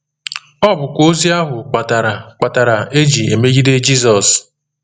Ọ bụkwa ozi ahụ kpatara kpatara e ji emegide Jizọs.